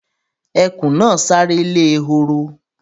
Ẹkùn náà sáré lè ehoro